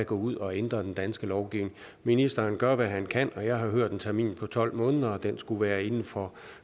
gå ud og ændre den danske lovgivning ministeren gør hvad han kan og jeg har hørt en termin på tolv måneder og den skulle være inden for